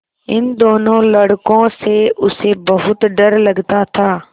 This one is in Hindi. इन दोनों लड़कों से उसे बहुत डर लगता था